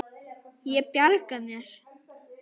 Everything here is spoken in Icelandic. Ég bjarga mér.